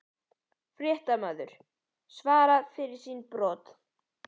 Fréttamaður: Svara fyrir sín brot?